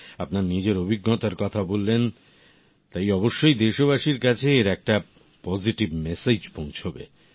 আপনার নিজের অভিজ্ঞতার কথা বললেন তাই অবশ্যই দেশবাসীর কাছে এর একটা পজিটিভিটির মেসেজ পৌঁছবে